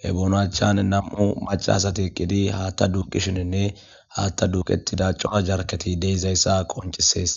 he boonachan nam7u macaasati qqidi haatta duuqishininne haatta duuqetida coora jarketi deyzayssa qoncisees.